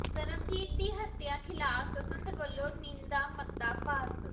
ਸਰਬਜੀਤ ਦੀ ਹੱਤਿਆ ਖ਼ਿਲਾਫ਼ ਸੰਸਦ ਵੱਲੋਂ ਨਿੰਦਾ ਮਤਾ ਪਾਸ